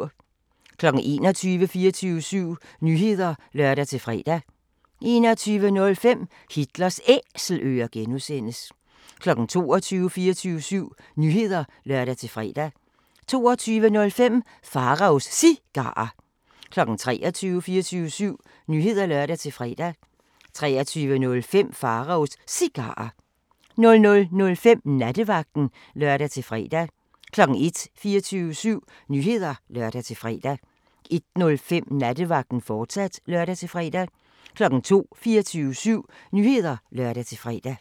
21:00: 24syv Nyheder (lør-fre) 21:05: Hitlers Æselører (G) 22:00: 24syv Nyheder (lør-fre) 22:05: Pharaos Cigarer 23:00: 24syv Nyheder (lør-fre) 23:05: Pharaos Cigarer 00:05: Nattevagten (lør-fre) 01:00: 24syv Nyheder (lør-fre) 01:05: Nattevagten, fortsat (lør-fre) 02:00: 24syv Nyheder (lør-fre)